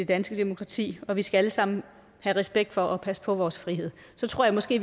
danske demokrati og vi skal alle sammen have respekt for og passe på vores frihed så tror jeg måske